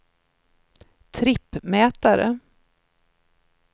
trippmätare